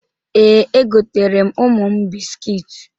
Ee, egoteere m ụmụ m biskiit.